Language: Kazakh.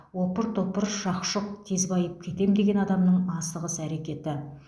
опыр топыр шақ шұқ тез байып кетем деген адамның асығыс әрекеті